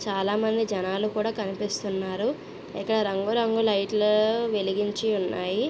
చాలా మంది జనాలు కూడా కనిపిసున్నారు ఇక్కడ రంగు రంగుల లైట్లు వెలిగించి ఉన్నాయి.